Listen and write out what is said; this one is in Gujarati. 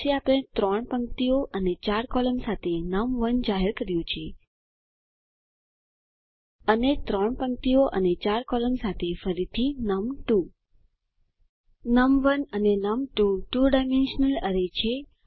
પછી આપણે 3 પંક્તિઓ અને 4 કૉલમ સાથે નમ1 જાહેર કર્યુ છે અને 3 પંક્તિઓ અને 4 કૉલમ સાથે ફરીથી નમ2 નમ1 અને નમ2 2 ડાયમેન્શનલ એરે છે